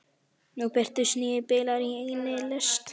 Nú birtust níu bílar í einni lest.